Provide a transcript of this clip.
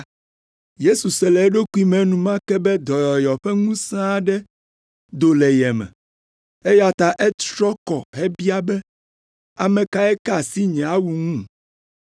Yesu se le eɖokui me enumake be dɔyɔyɔ ƒe ŋusẽ aɖe do le ye me, eya ta etrɔ kɔ hebia be, “Ame kae ka asi nye awu ŋu?”